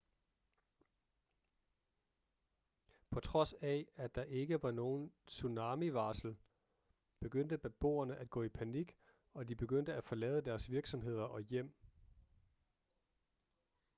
på trods af at der ikke var nogen tsunamivarsel begyndte beboerne at gå i panik og de begyndte at forlade deres virksomheder og hjem